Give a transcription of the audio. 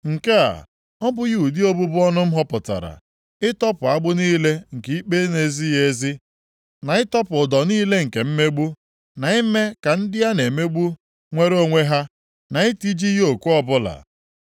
“Nke a ọ bụghị ụdị obubu ọnụ m họpụtara: Ịtọpụ agbụ niile nke ikpe na-ezighị ezi, na ịtọpụ ụdọ niile nke mmegbu, na ime ka ndị a na-emegbu nwere onwe ha na itiji yoku ọbụla?